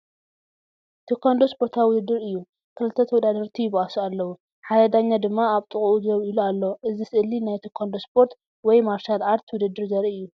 ቴኳንዶ ስፖርታዊ ውድድር እዩ። ክልተ ተወዳደርቲ ይበኣሱ ኣለዉ፡ ሓደ ዳኛ ድማ ኣብ ጥቓኡ ደው ኢሉ ኣሎ። እዚ ስእሊ ናይ ቴኳንዶ ስፖርት (ማርሻል ኣርት) ውድድር ዘርኢ እዩ።